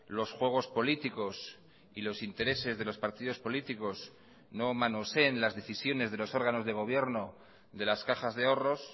los juegos políticos y los intereses de los partidos políticos no manoseen las decisiones de los órganos de gobierno de las cajas de ahorros